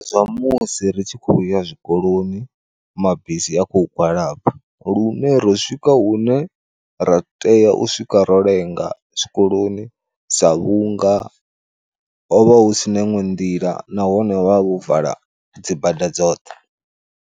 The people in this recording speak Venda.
Zwa musi ri tshi khoya zwikoloni mabisi a khou gwalaba, lune ro swika hune ra tea u swika ro lenga zwikoloni sa vhunga hovha husina iṅwe nḓila nahone vha vho vala dzibada dzoṱhe.